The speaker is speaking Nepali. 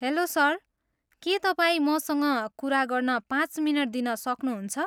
हेल्लो सर, के तपाईँ मसँग कुरा गर्न पाँच मिनट दिन सक्नुहुन्छ?